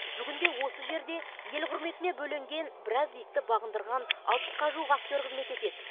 бүгінде осы жерде ел құрметіне бөленген біраз биікті бағындырған алпысқа жуық актер қызмет етеді